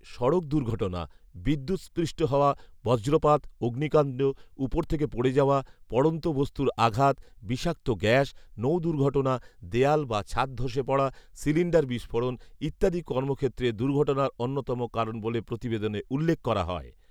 সড়ক দুর্ঘটনা, বিদ্যুৎষ্পৃষ্ট হওয়া, বজ্রপাত, অগ্নিকাণ্ড, উপর থেকে পড়ে যাওয়া, পড়ন্ত বস্তুর আঘাত, বিষাক্ত গ্যাস, নৌ দুর্ঘটনা, দেয়াল বা ছাদ ধসে পড়া, সিলিন্ডার বিস্ফোরণ ইত্যাদি কর্মক্ষেত্রে দুর্ঘটনার অন্যতম কারণ বলে প্রতিবেদনে উল্লেখ করা হয়